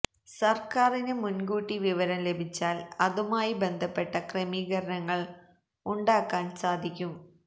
സര്ക്കാറിന് മുന്കൂട്ടി വിവരം ലഭിച്ചാല് അതുമായി ബന്ധപ്പെട്ട ക്രമീകരണങ്ങള് ഉണ്ടാക്കാന് സാധിക്കും